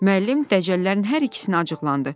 Müəllim dəcəllərin hər ikisinə acıqlandı.